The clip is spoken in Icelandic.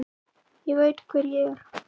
Ég veit hver ég er.